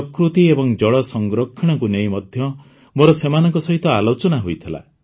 ପ୍ରକୃତି ଏବଂ ଜଳ ସଂରକ୍ଷଣକୁ ନେଇ ମଧ୍ୟ ମୋର ସେମାନଙ୍କ ସହିତ ଆଲୋଚନା ହୋଇଥିଲା